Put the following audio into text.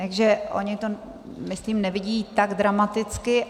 Takže oni to, myslím, nevidí tak dramaticky.